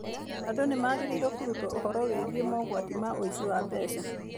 Andũ nĩ magĩrĩirũo kũrutwo ũhoro wĩgiĩ mogwati ma ũici wa mbeca.